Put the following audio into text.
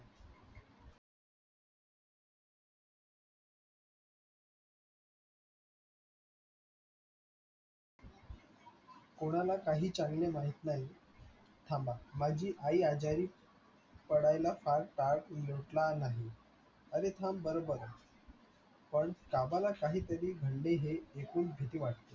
कोणाला काही चाललंय माहित नाही, थांबा माझी आई आजारी पडायला फार काळ लोटला नाही, अरे थांब बरं बरं पण काहीतरी घडले हे ऐकून भीती वाटते